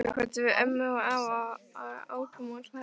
Svo kvöddum við ömmu og afa og ókum úr hlaði.